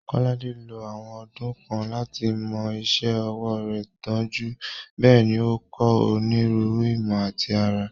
Kolade ló àwọn ọdún kan láti mọ́ iṣẹ́ ọwọ́ rẹ̀ dunjú, bẹ́ẹ̀ ni ó ń kọ́ onírúurú ìmọ̀ àti àrà.